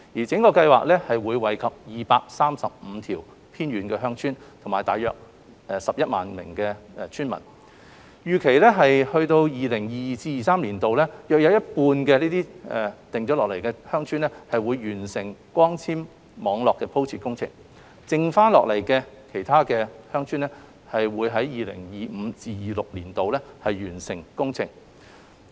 整個計劃會惠及235條偏遠鄉村和大約11萬名村民，預計至 2022-2023 年度有約一半鄉村會完成光纖網絡鋪設工程；餘下鄉村會於 2025-2026 年度完成工程。